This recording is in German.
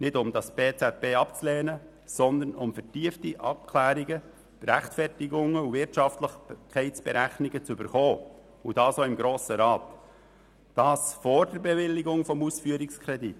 Dies haben wir nicht getan, weil wir das PZB ablehnen möchten, sondern um vertiefte Abklärungen, Rechtfertigungen und Wirtschaftlichkeitsberechnungen zu erhalten, dies auch im Grossen Rat und vor der Bewilligung des Ausführungskredits.